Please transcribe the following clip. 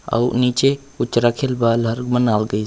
आर उ निचे कुछ बारल बनावल गइस--